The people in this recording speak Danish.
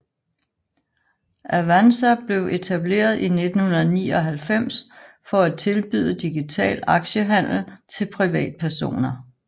Avanza blev etableret i 1999 for at tilbyde digital aktiehandel til privatpersoner